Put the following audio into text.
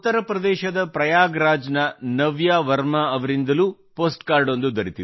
ಉತ್ತರ ಪ್ರದೇಶದ ಪ್ರಯಾಗ್ ರಾಜ್ ನ ನವ್ಯಾ ವರ್ಮಾ ಅವರಿಂದಲೂ ಪೋಸ್ಟ್ ಕಾರ್ಡ ಒಂದು ದೊರೆತಿದೆ